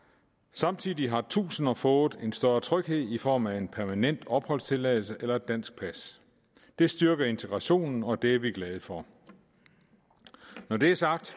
samtidig har tusinder fået en større tryghed i form af en permanent opholdstilladelse eller et dansk pas det styrker integrationen og det er vi glade for når det er sagt